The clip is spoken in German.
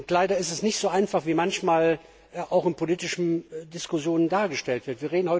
Leider ist es nicht so einfach, wie es manchmal auch in politischen Diskussionen dargestellt wird.